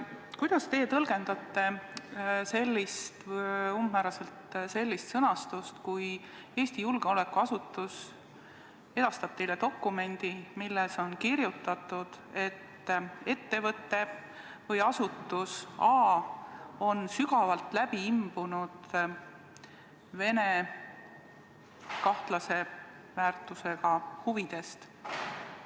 Kuidas teie tõlgendate sellist sõnastust, kui Eesti julgeolekuasutus edastab teile dokumendi, milles on kirjutatud, et ettevõte või asutus A on sügavalt läbi imbunud Venemaa kahtlase väärtusega huvidest?